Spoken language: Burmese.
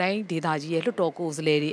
တိုင်းဒေသကြီး လွှတ်တော် ကိုယ်စားလှယ်တွေ